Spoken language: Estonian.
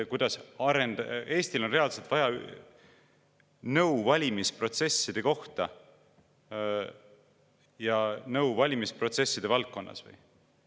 Kas Eestil on reaalselt vaja mingisugust nõu valimisprotsesside kohta ja nõu valimisprotsesside valdkonnas või?